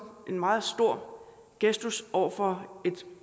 en meget stor gestus over for et